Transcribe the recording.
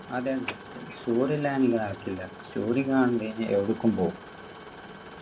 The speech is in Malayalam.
അതില്ല story ഇടാതെ നടക്കില്ല story കണ്ടു കയിഞ്ഞാ എവിടേക്കും പോകും